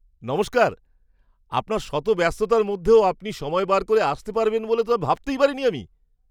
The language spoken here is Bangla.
নমস্কার! আপনার শত ব্যস্ততার মধ্যেও আপনি সময় বার করে আসতে পারবেন বলে তো ভাবতেই পারিনি আমি!